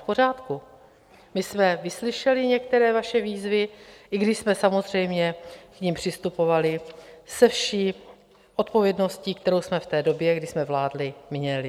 V pořádku, my jsme vyslyšeli některé vaše výzvy, i když jsme samozřejmě k nim přistupovali se vší odpovědností, kterou jsme v té době, kdy jsme vládli, měli.